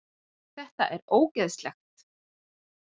Þetta er ógeðslegt